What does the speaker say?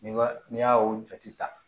N'i b'a n'i y'a o jate ta